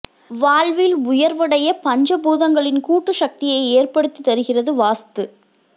வாழ்வில் உயர்வடைய பஞ்ச பூதங்களின் கூட்டு சக்தியை ஏற்படுத்தி தருகிறது வாஸ்து